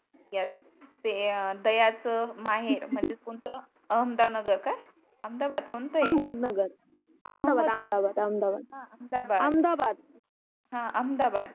ते दयाच माहेर म्हणजेच कोणत अहमदानगर काय अहमदाबाद कोणत आहेय अहमदनगर अहमदाबाद अहमदाबाद हा अहमदाबाद